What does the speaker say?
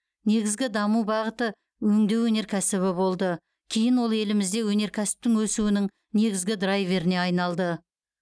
негізгі даму бағыты өңдеу өнеркәсібі болды кейін ол елімізде өнеркәсіптің өсуінің негізгі драйверіне айналды